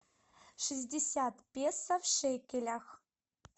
шестьдесят песо в шекелях